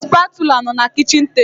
The spatula bụ na kichin table